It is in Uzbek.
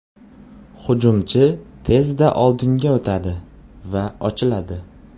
Hujumchi tezda oldinga o‘tadi va ochiladi.